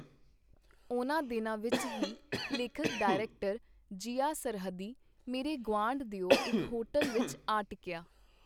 ਉਹਨਾਂ ਦਿਨਾਂ ਵਿਚ ਹੀ ਲੇਖਕ-ਡਾਇਰੈਕਟਰ, ਜ਼ਿਆ ਸਰਹੱਦੀ ਮੇਰੇ ਗੁਆਂਢ ਦਿਓ ਇਕ ਹੋਟਲ ਵਿਚ ਆ ਟਿਕੀਆ.